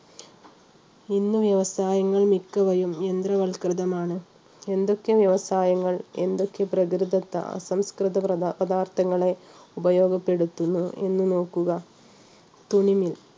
ഇന്ന് വ്യവസായങ്ങൾ മിക്കവയും യന്ത്രവൽകൃതമാണ് എന്തൊക്കെ വ്യവസായങ്ങൾ എന്തൊക്കെ പ്രകൃതിദത്ത അസംസ്കൃത പദാർത്ഥങ്ങളെ ഉപയോഗപ്പെടുത്തുന്നു എന്ന് നോക്കുക തുണി mill